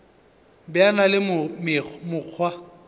be a na le mokgwa